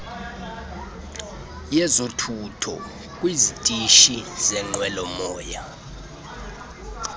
yezothutho kwizitishi zenqwelomoya